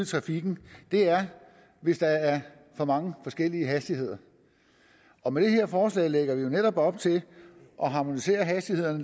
trafikken er hvis der er for mange forskellige hastigheder og med det her forslag lægger vi jo netop op til at harmonisere hastighederne